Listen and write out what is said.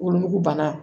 Wolonugu bana